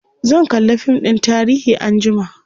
zan kalla fim ɗin tarihi anjima